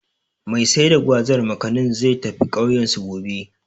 Mai sai da Gwazar/Makanin, zai tafi ƙauyensu, gobe.